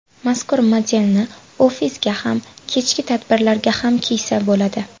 Mazkur modelni ofisga ham kechki tadbirlarga ham kiysa bo‘ladi.